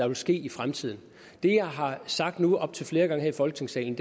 vil ske i fremtiden det jeg har sagt nu op til flere gange her i folketingssalen